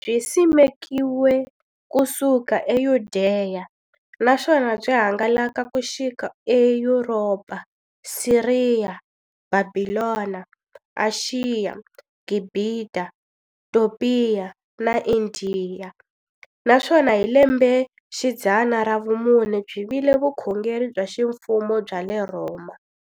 Byi simekiwe ku suka eYudeya, naswona byi hangalake ku xika eYuropa, Siriya, Bhabhilona, Ashiya, Gibhita, Topiya na Indiya, naswona hi lembexidzana ra vumune byi vile vukhongeri bya ximfumo bya le Rhoma.